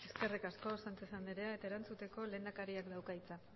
eskerrik asko sánchez andrea eta erantzuteko lehendakariak dauka hitza